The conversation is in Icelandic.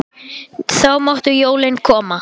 Þá máttu jólin koma.